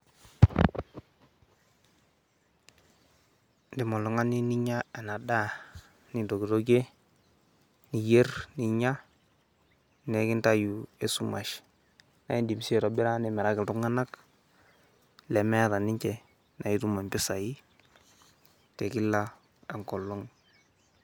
Indim oltung'ani ninya ena daa nintokitokie, niyer ninya, nikintanyu esumash. Naake indim sii aitobira nimiraki iltung'anak lemeeta ninje nae itum impisai te kila enkolong'.